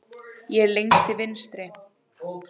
Ég er lengst til vinstri.